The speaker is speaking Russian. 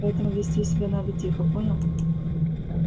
поэтому вести себя надо тихо понял